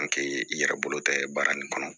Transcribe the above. i yɛrɛ bolo tɛ baara nin kɔnɔ